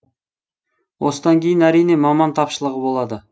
осыдан кейін әрине маман тапшылығы болады